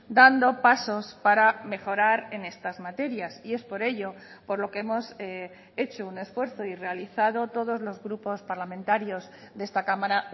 dando pasos para mejorar en estas materias y es por ello por lo que hemos hecho un esfuerzo y realizado todos los grupos parlamentarios de esta cámara